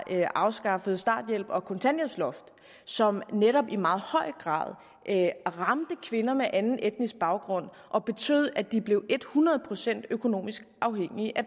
afskaffet starthjælpen og kontanthjælpsloftet som netop i meget høj grad ramte kvinder med anden etnisk baggrund og betød at de blev ethundrede procent økonomisk afhængige af